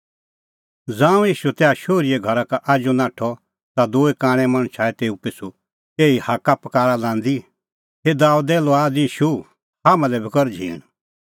ज़ांऊं ईशू तैहा शोहरीए घरा का आजू नाठअ ता दूई कांणै मणछ आऐ तेऊ पिछ़ू एही हाक्कापकारा लांदी हे दाबेदे लुआद ईशू हाम्हां लै बी कर झींण